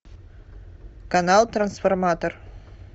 канал трансформатор